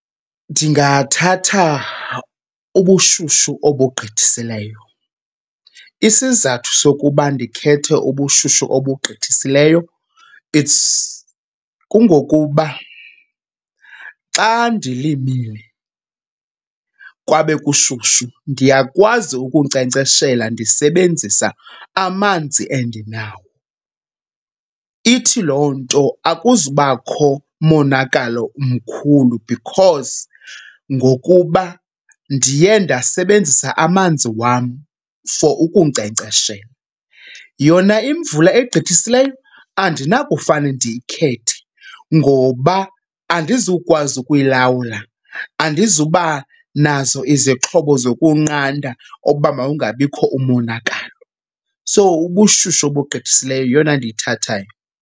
Ndingathatha ubushushu obugqithisileyo. Isizathu sokuba ndikhethe ubushushu obugqithisileyo it's kungokuba xa ndilimile kwabe kushushu, ndiyakwazi ukunkcenkceshela ndisebenzisa amanzi endinawo. Ithi loo nto akuzubakho monakalo umkhulu because ngokuba ndiye ndasebenzisa amanzi wam for ukunkcenkceshela. Yona imvula egqithisileyo andinakufane ndiyikhethe ngoba andizukwazi ukuyilawula, andizuba nazo izixhobo zokunqanda okokuba makungabikho umonakalo. So ubushushu obugqithisileyo yeyona ndiyithathayo.